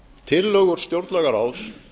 tillögur stjórnlagaráðs